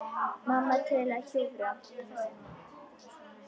Mamma til að hjúfra.